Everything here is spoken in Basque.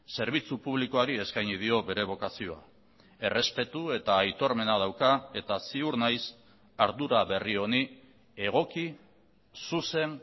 zerbitzu publikoari eskaini dio bere bokazioa errespetu eta aitormena dauka eta ziur naiz ardura berri honi egoki zuzen